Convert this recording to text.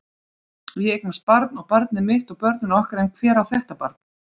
Ég eignast barn og barnið mitt og börnin okkar en hver á þetta barn?